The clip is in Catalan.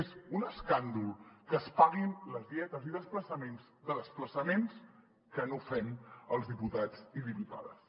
és un escàndol que es paguin les dietes i desplaçaments de desplaçaments que no fem els diputats i diputades